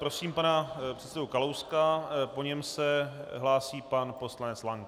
Prosím pana předsedu Kalouska, po něm se hlásí pan poslanec Lank.